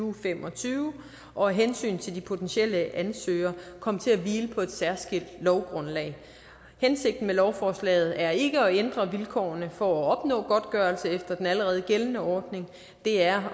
og fem og tyve og af hensyn til de potentielle ansøgere komme til at hvile på et særskilt lovgrundlag hensigten med lovforslaget er ikke at ændre vilkårene for at opnå godtgørelse efter den allerede gældende ordning det er